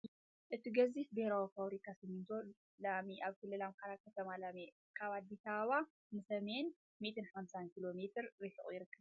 እቲ ገዚፍ ብሄራዊ ፋብሪካ ሲሚንቶ ለሚ ኣብ ክልል ኣምሓራ ከተማ ለሚ ካብ ኣዲስ ኣበባ ንሰሜን 150 ኪሎ ሜተር ርሒቑ ይርከብ።